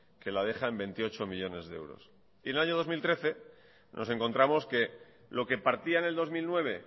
que la deja en veintiocho millónes de euros y en el año dos mil trece nos encontramos que lo que partía en el dos mil nueve